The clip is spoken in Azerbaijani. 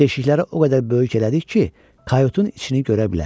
Deşikləri o qədər böyük elədik ki, Kayutun içini görə bilək.